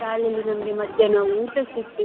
ಶಾಲೆಯಲ್ಲಿ ನಮ್ಗೆ ಮಧ್ಯಾಹ್ನ ಊಟ ಸಿಕ್ತಿತ್ತು.